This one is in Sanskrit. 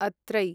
अत्रै